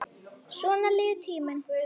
Svona líður tíminn.